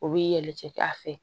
O b'i yɛlɛ a fɛ